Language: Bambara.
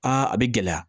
a bɛ gɛlɛya